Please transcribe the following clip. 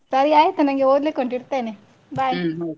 ಸರಿ ಆಯಿತು ನನ್ಗೆ ಓದ್ಲಿಕ್ಕೆ ಉಂಟು bye .